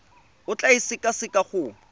o tla e sekaseka go